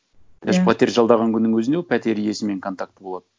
даже пәтер жалдаған күннің өзіне ол пәтер иесімен контакты болады